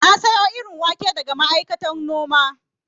Na sayo irin wake daga ma'aikatan noma